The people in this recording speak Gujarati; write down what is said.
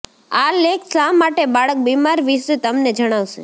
આ લેખ શા માટે બાળક બીમાર વિશે તમને જણાવશે